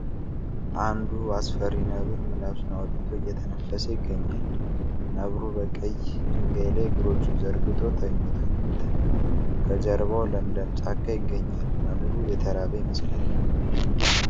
አንድ አስፈሪ ነበር ምላሱን አውጥቶ እየተነፈሰ ይገኛል ነብሩ በቀይ ድንጋይ ላይ እግሮችን ዘርግቶ ተኝቷል ከጀርባው ለምለም ጫካ ይገኛል ነብሩ የተራበ ይመስላል ።